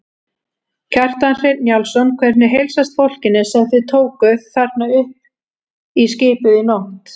Kjartan Hreinn Njálsson: Hvernig heilsast fólkinu sem þið tókuð þarna upp í skipið í nótt?